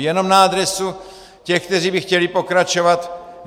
Jenom na adresu těch, kteří by chtěli pokračovat.